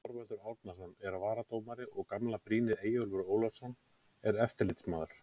Þorvaldur Árnason er varadómari og gamla brýnið Eyjólfur Ólafsson er eftirlitsmaður.